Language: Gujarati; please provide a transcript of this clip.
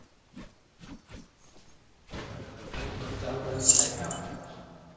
બરાબર છે હવે ફરી ચાલુ કરવી હોય તો થાય જ ને આમ